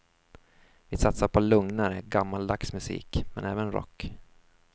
Vi satsar på lugnare, gammaldags musik men även rock.